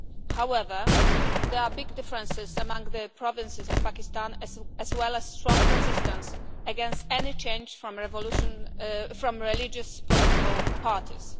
However, there are big differences among the provinces of Pakistan as well as strong resistance against any change from religious political parties.